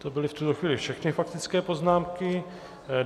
To byly v tuto chvíli všechny faktické poznámky.